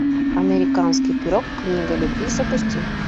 американский пирог книга любви запусти